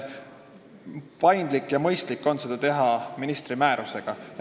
Paindlik ja mõistlik on seda teha ministri määrusega.